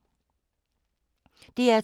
DR2